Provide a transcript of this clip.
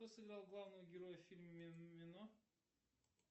кто сыграл главного героя в фильме мимино